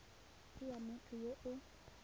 ke ya motho yo o